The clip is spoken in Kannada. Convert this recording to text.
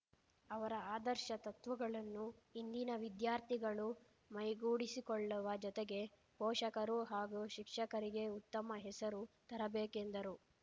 ಅವರ ಆದರ್ಶ ತತ್ವಗಳನ್ನು ಇಂದಿನ ವಿದ್ಯಾರ್ಥಿಗಳು ಮೈಗೂಡಿಸಿಕೊಳ್ಳುವ ಜೊತೆಗೆ ಪೋಷಕರು ಹಾಗೂ ಶಿಕ್ಷಕರಿಗೆ ಉತ್ತಮ ಹೆಸರು ತರಬೇಕೆಂದರು